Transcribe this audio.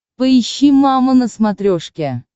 поищи мама на смотрешке